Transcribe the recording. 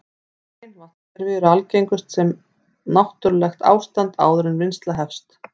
Hrein vatnskerfi eru algengust sem náttúrlegt ástand áður en vinnsla hefst.